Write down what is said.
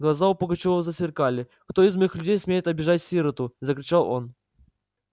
глаза у пугачёва засверкали кто из моих людей смеет обижать сироту закричал он